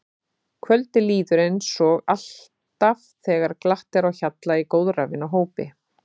Kvöldið líður hratt eins og alltaf þegar glatt er á hjalla í góðra vina hópi.